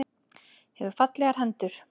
Hefur fallegar hendur.